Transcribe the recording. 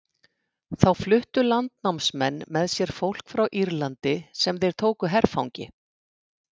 Þá fluttu landnámsmenn með sér fólk frá Írlandi sem þeir tóku herfangi.